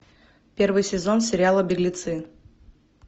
первый сезон сериала беглецы